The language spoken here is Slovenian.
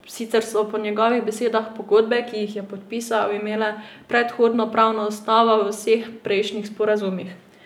Sicer so po njegovih besedah pogodbe, ki jih je podpisal, imele predhodno pravno osnovo v vseh prejšnjih sporazumih.